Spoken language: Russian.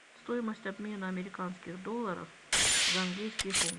стоимость обмена американских долларов за английские фунты